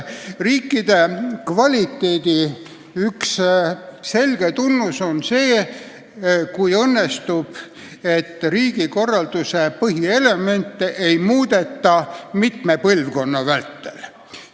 Riigi kvaliteedi üks selgeid tunnuseid on see , et riigikorralduse põhielemente ei muudeta mitme põlvkonna vältel.